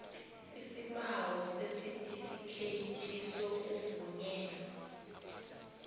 isibawo sesitifikhethi sokuvunyelwa